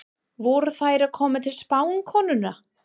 Voru þær að koma til spákonunnar?